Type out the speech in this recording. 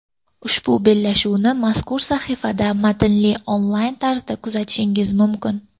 Ushbu bellashuvni mazkur sahifada matnli onlayn tarzida kuzatishingiz mumkin.